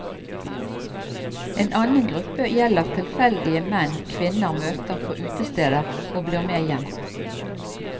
En annen gruppe gjelder tilfeldige menn kvinner møter på utesteder og blir med hjem.